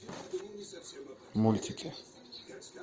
мультики